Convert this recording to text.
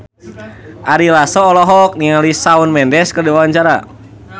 Ari Lasso olohok ningali Shawn Mendes keur diwawancara